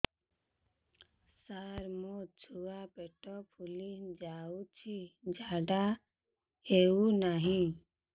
ସାର ମୋ ଛୁଆ ପେଟ ଫୁଲି ଯାଉଛି ଝାଡ଼ା ହେଉନାହିଁ